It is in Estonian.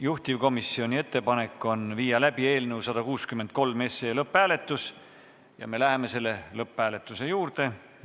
Juhtivkomisjoni ettepanek on viia läbi eelnõu 163 lõpphääletus ja me läheme selle juurde.